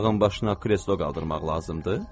Dağın başına kreslo qaldırmaq lazımdır.